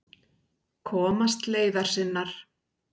Komast leiðar sinnar.